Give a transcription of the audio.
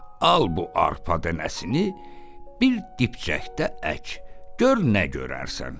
Al bu arpa dənəsini, bir dipçəkdə ək, gör nə görərsən.